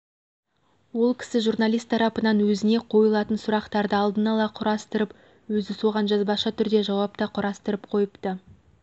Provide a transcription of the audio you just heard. ол кісі журналист тарапынан өзіне қойылатын сұрақтарды алдын ала құрастырып өзі соған жазбаша түрде жауап та құрастырып қойыпты